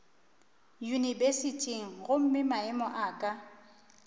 yunibesithing gomme maemo a ka